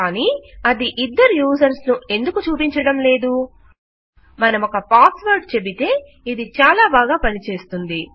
కానీ అది ఇద్దరు యూజర్స్ ను ఎందుకు చూపించడం లేదు మనమొక పాస్ వర్డ్ చెబితే ఇది చాలా బాగా పనిచేస్తుంది